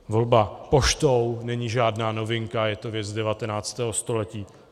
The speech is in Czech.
Volba poštou není žádná novinka, je to věc 19. století.